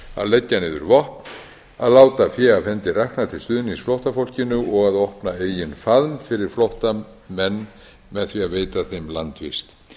leggja niður vopn að láta fé af hendi rakna til stuðnings flóttafólkinu og að opna eigin faðm fyrir flóttamenn með því að veita þeim landvist